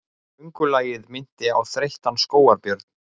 Göngulagið minnti á þreyttan skógarbjörn.